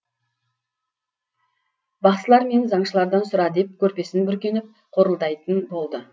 бақсылар мен заңшылардан сұра деп көрпесін бүркеніп қорылдайтын болды